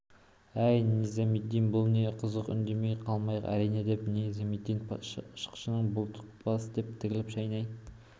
әй низамедин бұл не қызық үндемей қалмайық әрине деп низамедин шықшытын бұлтылдатты деп тілін шайнай